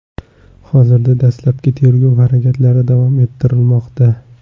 Hozirda dastlabki tergov harakatlari davom ettirilmoqda.